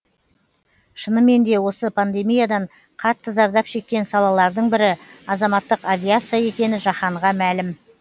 шынымен де осы пандемиядан қатты зардап шеккен салалардың бірі азаматтық авиация екені жаһанға мәлім